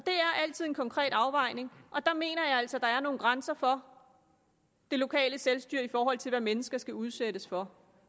altid en konkret afvejning og der mener jeg altså at der er nogle grænser for det lokale selvstyre i forhold til hvad mennesker skal udsættes for